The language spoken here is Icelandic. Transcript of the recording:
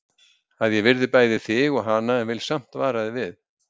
Að ég virði bæði þig og hana en vil samt vara þig við.